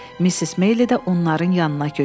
Missis Meyli də onların yanına köçdü.